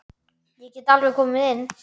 Ég get alveg komið inn.